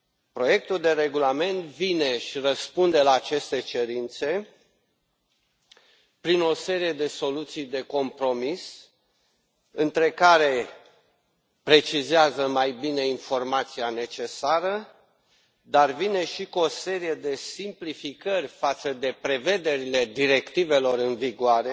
Proiectul de regulament vine și răspunde la aceste cerințe printr o serie de soluții de compromis, printre care faptul precizează mai bine informația necesară, dar vine și cu o serie de simplificări față de prevederile directivelor în vigoare,